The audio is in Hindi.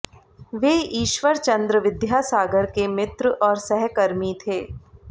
वे ईश्वर चन्द्र विद्यासागर के मित्र और सहकर्मी थे